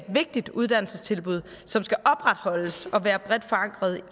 vigtigt uddannelsestilbud som skal opretholdes og være bredt forankret